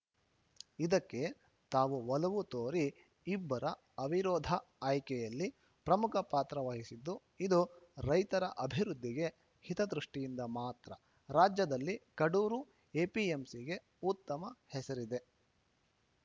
ಇದಕ್ಕೆ ತಾವು ಒಲವು ತೋರಿ ಇಬ್ಬರ ಅವಿರೋಧ ಆಯ್ಕೆಯಲ್ಲಿ ಪ್ರಮುಖ ಪಾತ್ರ ವಹಿಸಿದ್ದು ಇದು ರೈತರ ಅಭಿವೃದ್ಧಿ ಹಿತದೃಷ್ಟಿಯಿಂದ ಮಾತ್ರ ರಾಜ್ಯದಲ್ಲಿ ಕಡೂರು ಎಪಿಎಂಸಿಗೆ ಉತ್ತಮ ಹೆಸರಿದೆ